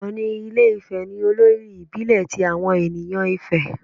Òni ilé Ifè ni olórí ìbílẹ̀ ti àwọn ènìyàn Ifè.